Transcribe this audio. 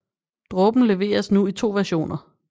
Dråben leveres nu i to versioner